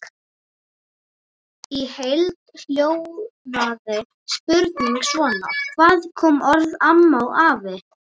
Í heild hljóðaði spurningin svona: Hvaðan koma orðin AMMA og AFI?